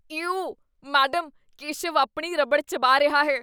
You! Madam, Keshav ਆਪਣੀ ਰਬੜ ਚਬਾ ਰਿਹਾ ਹੈ।